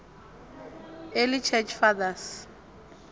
early church fathers